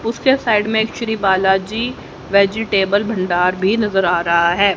उसके साइड में एक श्री बालाजी वेजिटेबल भंडार भी नजर आ रहा है।